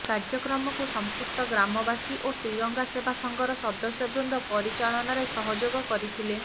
କାର୍ଯ୍ୟକ୍ରମକୁ ସଂପୃକ୍ତ ଗ୍ରାମବାସୀ ଓ ତ୍ରିରଙ୍ଗା ସେବା ସଂଘର ସଦସ୍ୟ ବୃନ୍ଦ ପରିଚାଳନାରେ ସହଯୋଗ କରିଥିଲେ